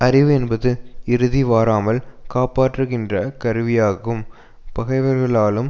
அறிவு என்பது இறுதி வாராமல் காப்பாற்றுகின்ற கருவியாகும் பகைவர்களாலும்